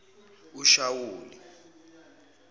eshawule